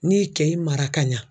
N'i ye kɛ i mara ka ɲa